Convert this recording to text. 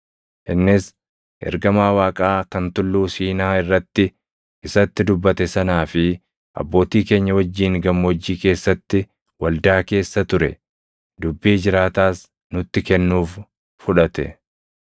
Innis, Ergamaa Waaqaa kan Tulluu Siinaa irratti isatti dubbate sanaa fi abbootii keenya wajjin gammoojjii keessatti waldaa keessa ture; dubbii jiraataas nutti kennuuf fudhate.